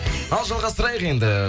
ал жалғастырайық енді